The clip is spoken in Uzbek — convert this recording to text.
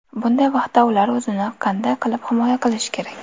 Bunday vaqtda ular o‘zini qanday qilib himoya qilishi kerak?